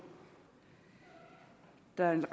er en